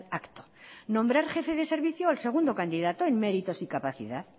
acto nombrar jefe de servicio al segundo candidato en méritos y capacidad